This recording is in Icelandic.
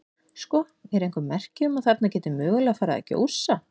Sko, eru einhver merki um að þarna geti mögulega farið að gjósa?